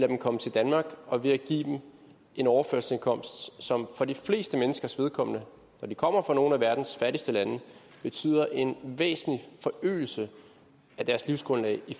dem komme til danmark og ved at give dem en overførselsindkomst som for de fleste menneskers vedkommende de kommer fra nogle af verdens fattigste lande betyder en væsentlig forøgelse af deres livsgrundlag i